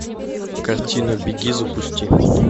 картина беги запусти